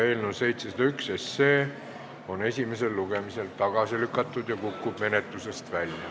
Eelnõu 701 on esimesel lugemisel tagasi lükatud ja kukub menetlusest välja.